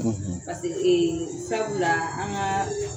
;; Sabula an kaaa